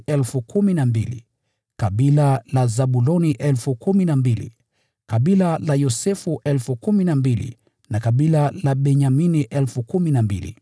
kutoka kabila la Zabuloni 12,000, kutoka kabila la Yosefu 12,000, na kutoka kabila la Benyamini 12,000.